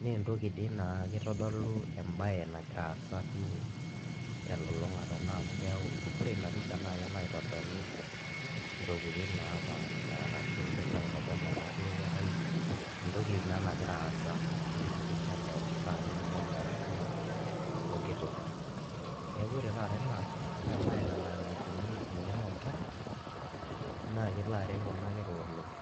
naa entoki dii naa kitodulo embaye nagira aasa duo telulung'ata naa amu keeku ore ina pisha naa kelo aitodolu ntaokitin naapaasha arashu kelo aitodol enaduo kerai entoki naa nagira aasa tina pisha keon naa ketumoki atodua pooki toki, neeku ore taata ena naa embaye nalo ailepunyie eng'eno oonkera naa kelo aret kuna kera oleng'.